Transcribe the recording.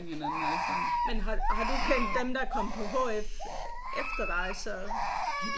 Men har har du kendt dem der kom på HF efter dig så?